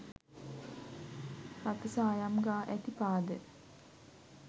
රතුසායම් ගා ඇති පාද,